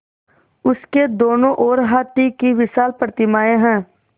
उसके दोनों ओर हाथी की विशाल प्रतिमाएँ हैं